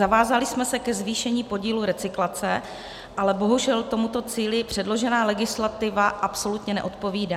Zavázali jsme se ke zvýšení podílu recyklace, ale bohužel tomuto cíli předložená legislativa absolutně neodpovídá.